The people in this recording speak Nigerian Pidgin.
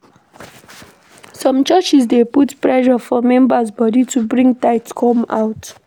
Some churches dey put pressure for members body to bring tithe come out